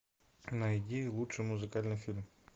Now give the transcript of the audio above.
найди лучший музыкальный фильм